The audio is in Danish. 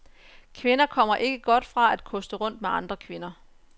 Kvinder kommer ikke godt fra at koste rundt med andre kvinder.